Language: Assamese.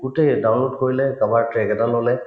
গোটেই download কৰিলে চাবা এটা ললে